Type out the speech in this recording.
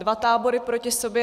Dva tábory proti sobě.